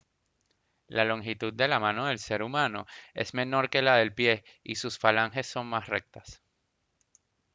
la longitud de la mano del ser humano es menor que la del pie y sus falanges son más rectas